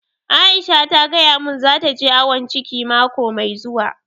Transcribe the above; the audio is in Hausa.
Aisha ta gaya mun za ta je awon ciki mako mai zuwa